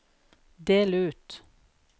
del ut